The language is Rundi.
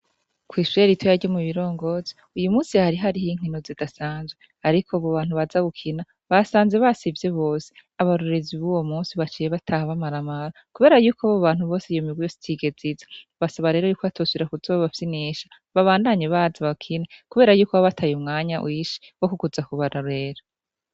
Ko'isayeli ito yarye mu birongozi uyu musi hari hariho inkino zidasanzwe, ariko bo bantu baza gukina basanze basivye bose abarurizi b'uwo musi baciye bataha bamaramara, kubera yuko bo bantu bose yomibweyostige ziza basaba rero yuko batosuira kuzababafyi n'isha babandanye baza bakina, kubera yuko ababataye umwanya wishi wo kukuza kubara bera.